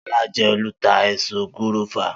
Solá je olùta ẹ̀so gúrófà